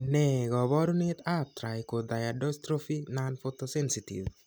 Ne kaabarunetap Trichothiodystrophy nonphotosensitive?